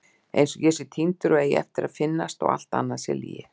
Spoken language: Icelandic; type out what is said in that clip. Einsog ég sé týndur og eigi eftir að finnast og allt annað sé lygi.